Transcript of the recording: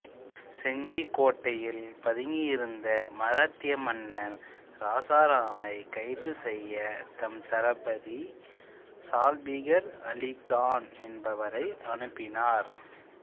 செஞ்சிக் கோட்டையில் பதுங்கி இருந்த மராத்திய மன்னன் இராசாராமைக் கைது செய்ய தம் தளபதி சல்பீகார் அலிகான் என்பவரை அனுப்பினார்